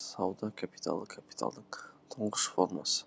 сауда капиталы капиталдың тұңғыш формасы